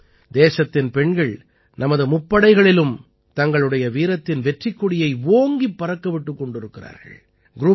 இன்று தேசத்தின் பெண்கள் நமது முப்படைகளிலும் தங்களுடைய வீரத்தின் வெற்றிக் கொடியை ஓங்கிப் பறக்கவிட்டுக் கொண்டிருக்கிறார்கள்